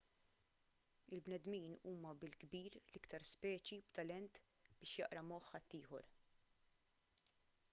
il-bnedmin huma bil-kbir l-iktar speċi b'talent biex jaqra moħħ ħaddieħor